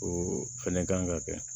O fɛnɛ kan ka kɛ